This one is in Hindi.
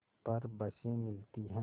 पर बसें मिलती हैं